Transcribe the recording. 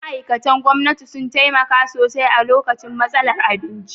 Ma'aikatan gwamnati, sun taimaka sosai a lokacin matsalar abinci.